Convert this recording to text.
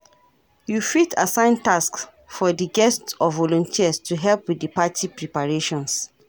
You fit assign tasks for di guests or volunteers to help with di party preparations.